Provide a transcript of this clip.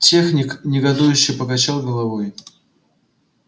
техник негодующе покачал головой